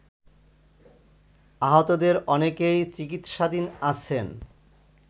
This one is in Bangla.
আহতদের অনেকেই চিকিৎসাধীন আছেন